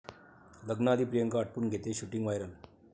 लग्नाआधी प्रियांका आटपून घेतेय shooting, viral